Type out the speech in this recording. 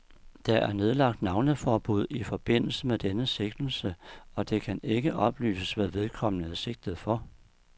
Der er nedlagt navneforbud i forbindelse med denne sigtelse, og det kan ikke oplyses, hvad vedkommende er sigtet for.